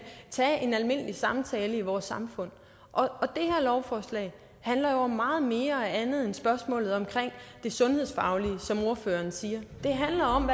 tage en almindelig samtale i vores samfund og det her lovforslag handler jo om meget mere og andet end spørgsmålet om det sundhedsfaglige som ordføreren siger det handler om